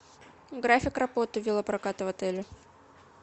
график работы велопроката в отеле